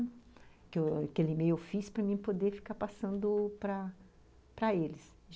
Aquele e-mail eu fiz para mim poder ficar passando para para eles.